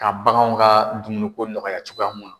Ka baganw ka dumuni ko nɔgɔya cogoya mun na